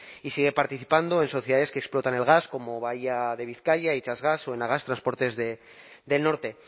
y sigue participando en sociedades que explotan el gas como bahía de bizkaia itxasgas o enagas transportes del norte